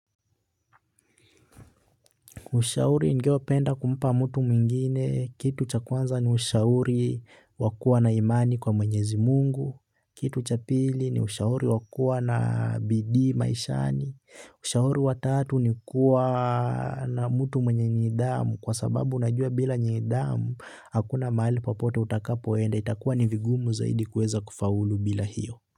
Ushauri ningewai penda kumpa mtu mwingine. Kitu cha kwanza ni ushauri wa kuwa na imani kwa mwenyezi mungu. Kitu cha pili ni ushauri wa kuwa na bidi maishani. Ushauri wa tatu ni kuwa na mtu mwenye nidhamu kwa sababu unajua bila nidhamu hakuna mahali papote utakapoenda. Itakuwa ni vigumu zaidi kueza kufaulu bila hiyo.